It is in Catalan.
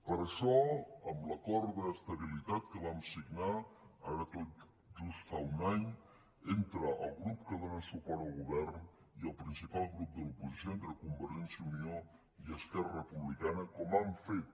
per això amb l’acord d’estabilitat que vam signar ara tot just fa un any entre el grup que dóna suport al govern i el principal grup de l’oposició entre convergència i unió i esquerra republicana com han fet